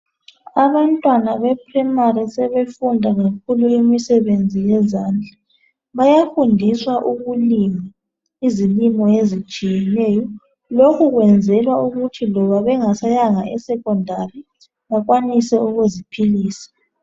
Abantwana basezingeni laphansi sebefunda kakhulu imisebenzi yezandla. Bayafundiswa ukulima izilimo ezitshiyeneyo, lokhu kwenzela ukuthi loba bengasayanga ezingeni lemfundo yaphezulu bakwanise ukuziphilise.